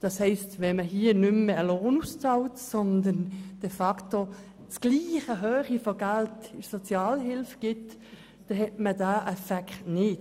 Bezahlt man keinen Lohn mehr aus, sondern de facto den gleich hohen Geldbetrag als Sozialhilfe, hat man diese Möglichkeit nicht.